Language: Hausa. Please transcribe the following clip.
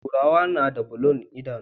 Turawa nada bulun idanu